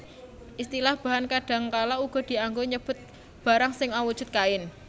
Istilah bahan kadhangkala uga dianggo nyebut barang sing awujud kain